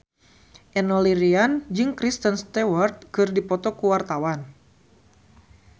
Enno Lerian jeung Kristen Stewart keur dipoto ku wartawan